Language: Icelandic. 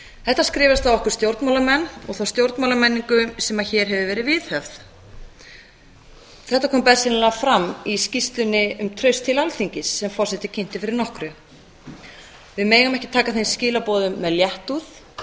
þetta skrifast á okkur stjórnmálamenn og þá stjórnmálamenningu sem hér hefur verið viðhöfð þetta kom bersýnilega fram í skýrslunni um traust til alþingis sem forseti kynnti fyrir nokkru við megum ekki taka þeim skilaboðum með léttúð